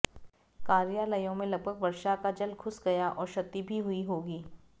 कार्यालयों में लगभग वर्षा का जल घुस गया और क्षति भी हुई होगी